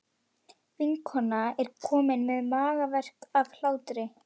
Vinkonan er komin með magaverk af hlátri.